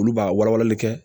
Olu b'a wala walali kɛ